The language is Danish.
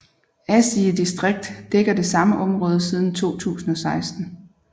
Asige distrikt dækker det samme område siden 2016